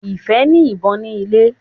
Ifẹ ní ìbọn ni ilè.